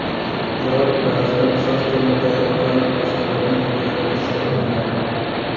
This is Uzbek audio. Biroq ba’zilar soch turmagi orqali boshqalardan ajralib turishga urinadi.